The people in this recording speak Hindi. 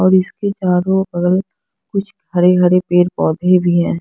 और इसके चारो बगल कुछ हरे हरे पेड़ पौधे भी हैं।